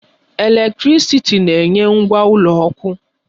Eletrịsịtị na-enye ngwa ụlọ ọkụ.